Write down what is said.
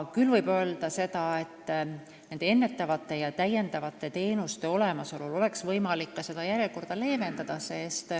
Võib aga öelda, et ennetavate ja täiendavate teenuste olemasolu korral oleks võimalik järjekordi leevendada.